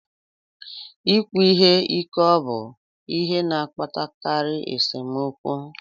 Ikwu ihe ike obụ ihe na-akpatakarị nsemokwu?